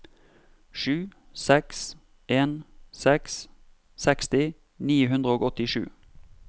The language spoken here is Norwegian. sju seks en seks seksti ni hundre og åttisju